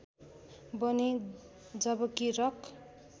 बने जबकि रक